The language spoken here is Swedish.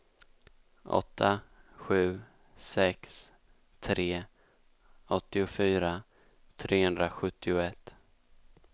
åtta sju sex tre åttiofyra trehundrasjuttioett